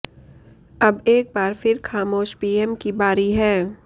अब एक बार फिर खामोश पीएम की बारी है